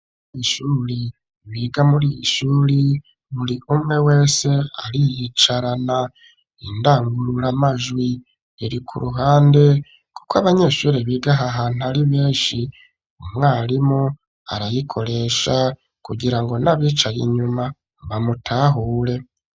W ishuri biga muri ishuri muri umwe wese ariyicarana indangurura amajwi iri ku ruhande, kuko abanyeshuri biga ahantu ari benshi umwarimu arayikoresha kugira ngo n'abicaye inyuma bamutahure.